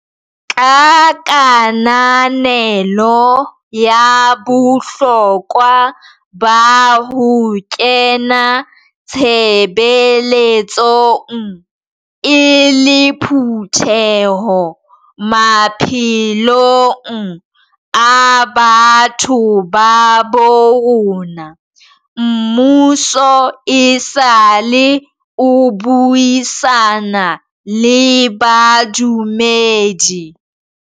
Ka kananelo ya bohlokwa ba ho kena tshebeletsong e le phutheho maphelong a batho ba bo rona, mmuso esale o buisana le badumedi.